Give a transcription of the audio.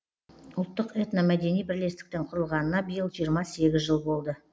ұлттық этномәдени бірлестіктің құрылғанына биыл жиырма сегіз жыл болды